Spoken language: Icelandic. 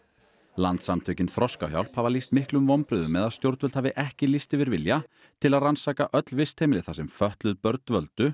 landssamtökin Þroskahjálp hafa lýst miklum vonbrigðum með að stjórnvöld hafi ekki lýst yfir vilja til að rannsaka öll vistheimili þar sem fötluð börn dvöldu